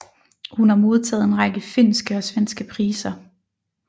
Hun har modtaget en række finske og svenske priser